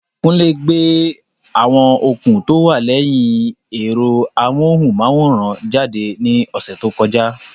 Kunle gbé àwọn okùn tó wà lẹ́yìn ẹ̀rọ amóhùnmáwòrán jáde ní ọ̀sẹ̀ tó kọjá.